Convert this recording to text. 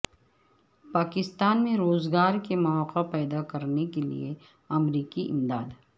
پاکستان میں روزگار کے مواقع پیدا کرنے کے لیے امریکی امداد